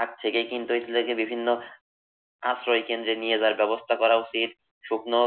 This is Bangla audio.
আগ থেকেই কিন্তু এই গুলোকে বিভিন্ন আশ্রয় কেন্দ্রে নিয়ে যাওয়ার ব্যবস্থা করা উচিৎ শুকনো